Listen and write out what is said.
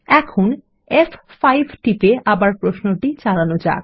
এখন ফ5 টিপে আবার প্রশ্নটি চালানো যাক